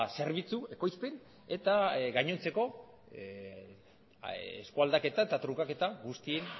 zerbitzu ekoizpen eta gainontzeko eskualdaketa eta trukaketa guztien